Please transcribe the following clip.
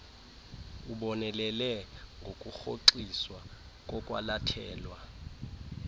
ubonelele ngokurhoxiswa kokwalathelwa